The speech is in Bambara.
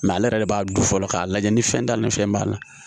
ale yɛrɛ de b'a dun fɔlɔ k'a lajɛ ni fɛn t'a la ni fɛn b'a la